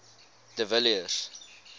de villiers